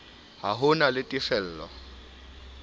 ha ho na le tefelo